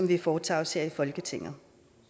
vi foretager os her i folketinget